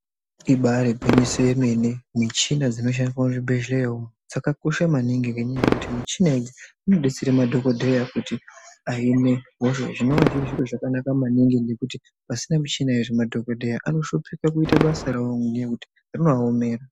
Ibari gwinyiso yemene . Michina dzinoshandiswa muzvibhehleya umu dzakakosha maningi ngenyaya yekuti michina idzi dzinodetsera madhokodheya kuti ahine hosha zvinowa zviri zviro zvakanaka maningi ngekuti pasina michina iyo madhokodheya anoshuphika kuita basa rawo nenyaya yekuti rinoaomera.